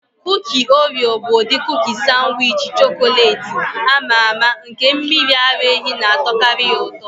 Kuki Oreo bụ ụdị kuki sanwichi chọkọletị ama ama, nke mmiri ara ehi na-atọkarị ya ụtọ.